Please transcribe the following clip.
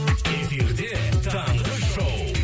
эфирде таңғы шоу